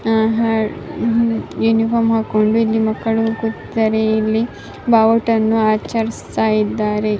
ಅಹ್ಹ uniform ಹಾಕೊಂಡು ಎಲ್ಲಿ ಮಕ್ಕಳು ಇಲ್ಲಿ ಬಾವುಟ ಆಚರಿಸುತ್ತ ಇದ್ದಾರೆ.